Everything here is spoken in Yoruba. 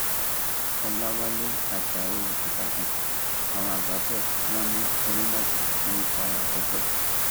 ọlàwálẹ ajáò ìbàdàn àwọn àgbà bò wọn ní òǹlàjà ní í fara gbọgbẹ